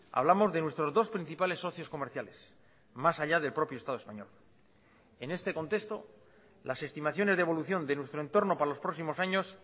hablamos de nuestros dos principales socios comerciales más allá del propio estado español en este contexto las estimaciones de evolución de nuestro entorno para los próximos años